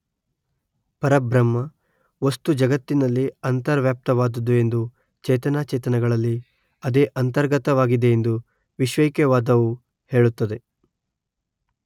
ಪರಬ್ರಹ್ಮ ವಸ್ತು ಜಗತ್ತಿನಲ್ಲಿ ಅಂತರ್ವ್ಯಾಪ್ತಾವಾದುದು ಎಂದೂ ಚೇತನಾಚೇತನಗಳಲ್ಲಿ ಅದೇ ಅಂತರ್ಗತವಾಗಿದೆ ಎಂದೂ ವಿಶ್ವೈಕ್ಯವಾದುವು ಹೇಳುತ್ತದೆ